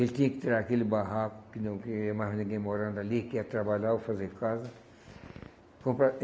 Ele tinha que tirar aquele barraco, que não queria mais ninguém morando ali, que ia trabalhar ou fazer casa. Comprar